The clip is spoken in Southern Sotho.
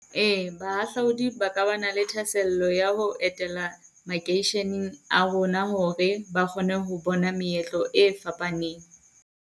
Ee bahahlaudi ba ka ba na le thahasello ya ho etela makeisheneng a rona hore ba kgone ho bona meetlo e fapaneng.